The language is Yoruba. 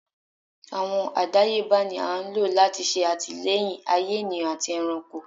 Awọn àdáyébá ní a n lo lati ṣe atilẹyin ayè ènìyàn àtí ẹranko